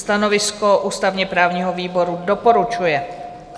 Stanovisko ústavně-právního výboru: doporučuje.